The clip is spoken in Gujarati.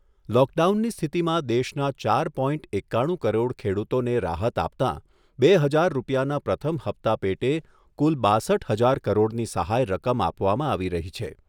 લોકડાઉનની સ્થિતિમાં દેશના ચાર પોઇન્ટ એકાણું કરોડ ખેડૂતોને રાહત આપતાં બે હજાર રૂપિયાના પ્રથમ હપ્તા પેટે કુલ બાસઠ હજાર કરોડની સહાય રકમ આપવામાં આપી રહી છે.